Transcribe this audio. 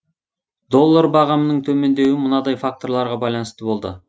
доллар бағамының төмендеуі мынадай факторларға байланысты болды